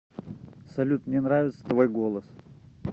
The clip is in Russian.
салют мне нравится твой голос